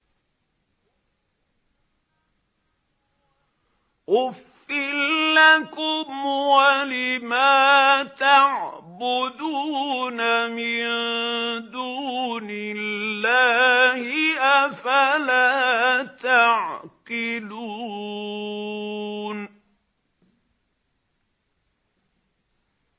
أُفٍّ لَّكُمْ وَلِمَا تَعْبُدُونَ مِن دُونِ اللَّهِ ۖ أَفَلَا تَعْقِلُونَ